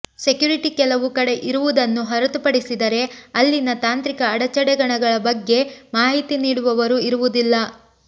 security ಕೆಲವು ಕಡೆ ಇರುವುದನ್ನು ಹೊರತುಪಡಿಸಿದರೆ ಅಲ್ಲಿನ ತಾಂತ್ರಿಕ ಅಡಚಣೆಗಳ ಬಗ್ಗೆ ಮಾಹಿತಿ ನೀಡುವವರೂ ಇರುವುದಿಲ್ಲ